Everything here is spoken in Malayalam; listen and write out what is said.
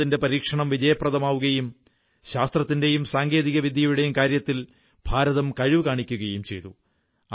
ഭാരതത്തിന്റെ പരീക്ഷണം വിജയപ്രദമാവുകയും ശാസ്ത്രത്തിന്റെയും സാങ്കേതിവിദ്യയുടെയും കാര്യത്തിൽ ഭാരതം കഴിവു കാണിക്കുകയും ചെയ്തു